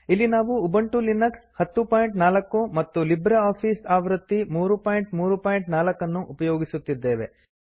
ಇಲ್ಲಿ ನಾವು Ubuntu Linux 1004 ಮತ್ತು ಲಿಬ್ರೆ ಆಫೀಸ್ ಆವೃತ್ತಿ 334 ಅನ್ನು ಉಪಯೋಗಿಸುತ್ತಿದ್ದೇವೆ